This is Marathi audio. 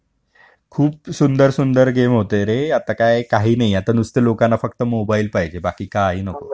खूप सुंदर सुंदर गेम होते रे आता काय काय नाही आता फक्त लोकांना नुसते मोबाईल पाहिजे बाकी काही नको